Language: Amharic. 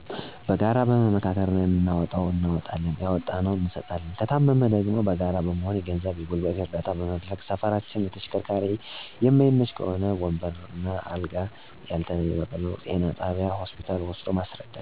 በጋራ በመመካከር የምናዋጣውን እናዋጠለን ያዋጣነውን እንሰጣለን። ከታመመ ደግሞ በጋራ በመሆን የገንዘብ የገልበት እረዳታ በመደረግ ሰፈራችን ለተሸከርካሪ የመይመች ከሆ በወንበር፣ እንደ አልጋ፣ ያልየ በበቅሉ ወደ ጤና ጣቢያ እና ሆስፒታ ወሰዶ ማሰረዳት።